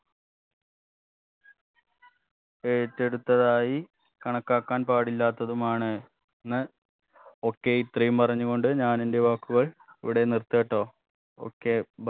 ഏറ്റെടുത്തതായി കണക്കാക്കാൻ പാടില്ലാത്തതുമാണ് ന്ന് okay ഇത്രയും പറഞ്ഞുകൊണ്ട് ഞാൻ എന്റെ വാക്കുകൾ ഇവിടെ നിർത്താട്ടോ okay